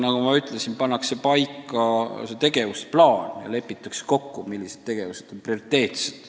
Nagu ma ütlesin, tegevusplaan pannakse paika ja lepitakse kokku, mis tegevused on prioriteetsed.